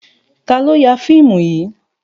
Ta ló ya fíìmù yìí?